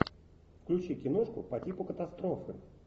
включи киношку по типу катастрофы